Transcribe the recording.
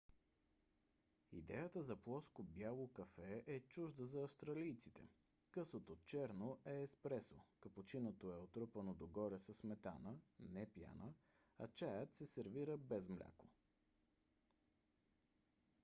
идеята за плоско бяло кафе е чужда за австралийците. късото черно е еспресо капучиното е отрупано догоре със сметана не пяна а чаят се сервира без мляко